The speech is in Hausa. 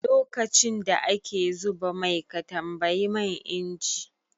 Lokacin da ake zuba mai ka tambayi man inji?